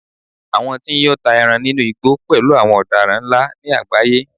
àwọn tí n yọ́ ta eran inú igbó pẹlú àwọn odaran nla ni agbaye